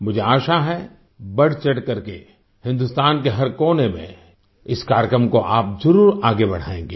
मुझे आशा है बढ़चढ़कर के हिन्दुस्तान के हर कोने में इस कार्यक्रम को आप जरुर आगे बढ़ायेंगे